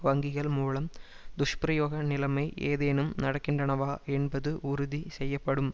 வங்கிகள் மூலம் துஷ்பிரயோக நிலைமை ஏதேனும் நடக்கின்றனவா என்பது உறுதி செய்யப்படும்